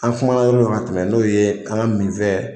An kumana yɔrɔ dɔ la ka tɛmɛn n'o ye an min fɛn,